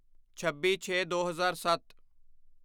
ਛੱਬੀਛੇਦੋ ਹਜ਼ਾਰ ਸੱਤ